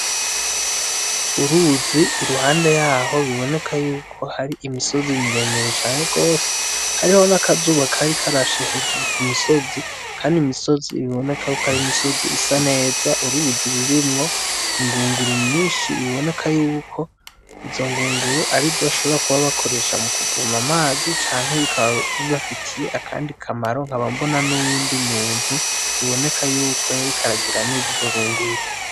Uruzi iruhande yaho biboneka ko hari imisozi miremire cane gose ,hariho n'akazuba kari karashe hejuru kumisozi, Kandi imisozi biboneka ko ari imisozi isa neza, uruzi rurimwo ingunguru nyinshi biboneka yuko izo ngunguru arizo na bashobora kuba bakoresha mu kuvoma amazi canke bikaba bibafitiye akande kamaro, nkaba mbona n'uwundi muntu biboneka yuko yariko aragira neza izo ngunguru.